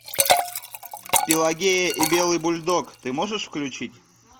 пелагея и белый бульдог ты можешь включить